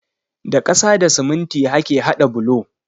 Da ƙasa da siminti ake hada bulo.